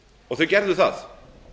og þau gerðu það